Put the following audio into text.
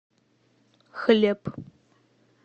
хлеб